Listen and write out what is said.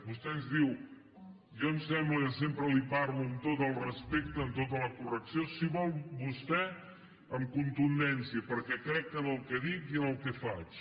vostè ens diu jo em sembla que sempre li parlo amb tot el respecte amb tota la correcció si vol vostè amb contundència perquè crec en el que dic i en el que faig